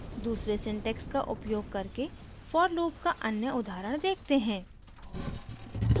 दूसरे syntax का उपयोग करके for लूप का अन्य उदाहरण देखते हैं